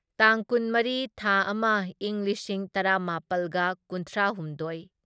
ꯇꯥꯡ ꯀꯨꯟꯃꯔꯤ ꯊꯥ ꯑꯃ ꯢꯪ ꯂꯤꯁꯤꯡ ꯇꯔꯥꯃꯥꯄꯜꯒ ꯀꯨꯟꯊ꯭ꯔꯥꯍꯨꯝꯗꯣꯢ